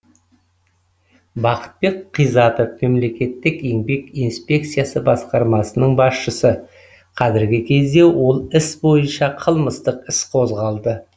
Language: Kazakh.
бақытбек қизатов мемлекеттік еңбек инспекциясы басқармасының басшысы қазіргі кезде ол іс бойынша қылмыстық іс қозғалды